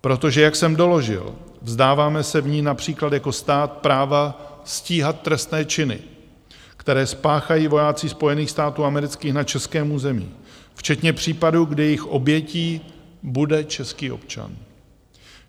Protože jak jsem doložil, vzdáváme se v ní například jako stát práva stíhat trestné činy, které spáchají vojáci Spojených států amerických na českém území, včetně případů, kdy jejich obětí bude český občan.